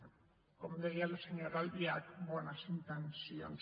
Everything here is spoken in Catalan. bé com deia la senyora albiach bones intencions